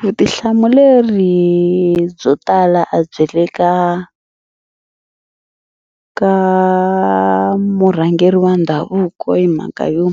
Vutihlamuleri byo tala a byi le ka ka murhangeri wa ndhavuko hi mhaka yo